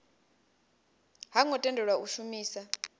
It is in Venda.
ho ngo tendelwa u shumisa